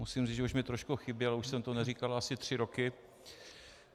Musím říct, že už mi trošku chyběl, už jsem to neříkal asi tři roky.